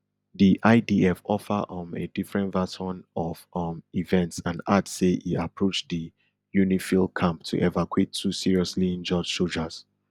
di idf offer um a different version of um events and add say e approach di unifil camp to evacuate two seriously injured sojas